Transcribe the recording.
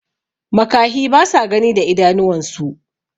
makahi basa Gani da idanuwan su